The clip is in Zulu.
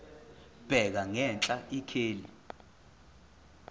bheka ngenhla ikheli